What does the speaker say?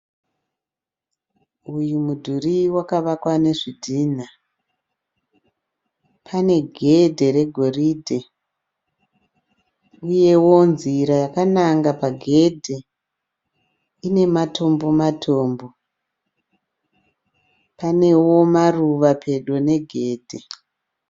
Uyu mudhuri wakavakwa nezvidhina, pane gedhe regoridhe, uyewo nzira yakananga pagedhe ine matombo matombo. Panewo maruva pedo negedhe.